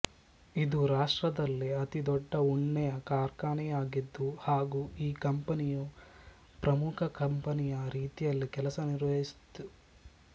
ಇದು ರಾಷ್ಟ್ರದಲ್ಲೇ ಅತಿ ದೊಡ್ಡ ಉಣ್ಣೆಯ ಕಾರ್ಖಾನೆಯಾಗಿತ್ತು ಹಾಗೂ ಈ ಕಂಪನಿಯು ಪ್ರಮುಖ ಕಂಪನಿಯ ರೀತಿಯಲ್ಲಿ ಕೆಲಸ ನಿರ್ವಹಿಸಿತು